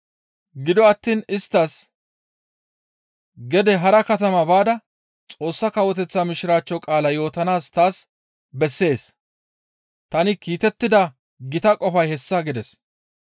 Gido attiin isttas, «Gede hara katama baada Xoossa Kawoteththa Mishiraachcho qaala yootanaas taas bessees; tani kiitettida gita qofay hessa» gides.